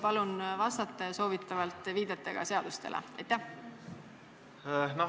Palun vastake ja soovitavalt viidetega seadustele!